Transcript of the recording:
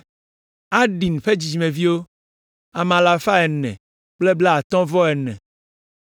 Adin ƒe dzidzimeviwo, ame alafa ene kple blaatɔ̃-vɔ-ene (454).